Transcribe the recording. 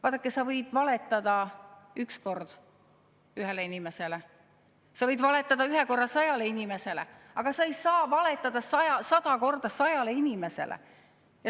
Vaadake, sa võid valetada üks kord ühele inimesele, sa võid valetada ühe korra sajale inimesele, aga sa ei saa valetada sada korda sajale inimesele.